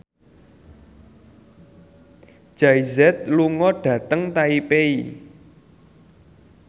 Jay Z lunga dhateng Taipei